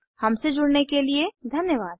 हमसे जुड़ने के लिए धन्यवाद